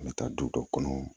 An bɛ taa du dɔ kɔnɔ